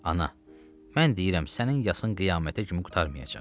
Ana, mən deyirəm sənin yasın qiyamətə kimi qurtarmayacaq.